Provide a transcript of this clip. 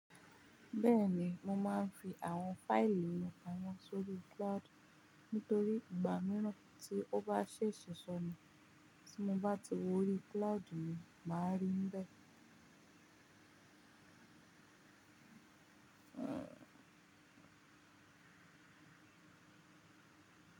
Bẹ́ẹ̀ni, mo máa ń fi àwọn fáìlì mi pa mo sórí cloud. Nítorí ìgbà mìíràn tí ó bá ṣe sọ̀sọ̀ ni tí mo bá ti wọrí cloud mi, màá rí n bẹ́ẹ̀.